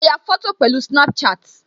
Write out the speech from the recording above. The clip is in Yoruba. Mo ya fọ́tò pẹ̀lú Snapchat